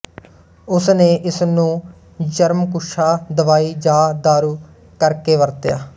ਉਸ ਨੇ ਇਸਨੂੰ ਜ਼ਰਮਕੁਛਾ ਦਵਾਈ ਜਾਂ ਦਾਰੂ ਕਰਕੇ ਵਰਤਿਆ